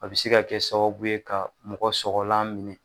A bi se ka kɛ sababu ye ka mɔgɔ sɔgɔlan minɛ